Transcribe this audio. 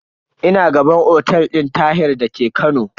Ina gaban otel din Tahir da ke Kano.